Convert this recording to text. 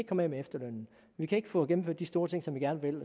komme af med efterlønnen vi kan ikke få gennemført de store ting som vi gerne vil